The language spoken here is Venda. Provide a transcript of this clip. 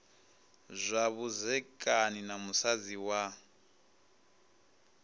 zwa vhudzekani na musadzi wa